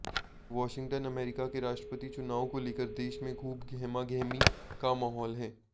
Washington America के राष्ट्रपति चुनाव को लेकर देश में खूब गहमागहमी का माहौल है